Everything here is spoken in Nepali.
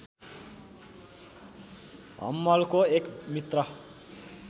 हम्मलको एक मित्र